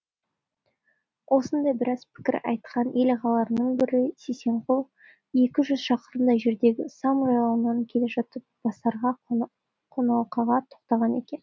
осындай біраз пікір айтқан ел ағаларының бірі сисенғұл екі жүз шақырымдай жердегі сам жайлауынан келе жатып басарға қоналқаға тоқтаған екен